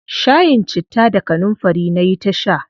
Shayin citta da kanunfari nayi ta sha.